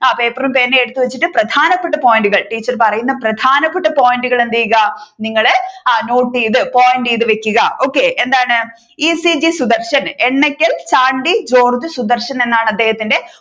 പേപ്പറും പേനയും എടുത്ത് വെച്ചിട്ട് പ്രധാനപ്പെട്ട point കൾ ടീച്ചർ പറയുന്ന പ്രധാനപ്പെട്ട point കൾ എന്ത് ചെയ്യുക നിങ്ങൾ നോട്ട് ചെയ്തു point ചെയ്തു വെക്കുക okay എന്താണ് E. C. G Sudarshan Ennakkal Chandy George Sudarshan എന്നാണ് അദ്ദേഹത്തിന്റെ